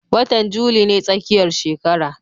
Watan juli ne tsakiyar shekara